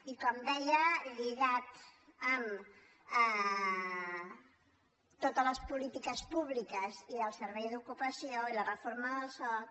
i com deia lligat amb totes les polítiques públiques i del servei d’ocupació i la reforma del soc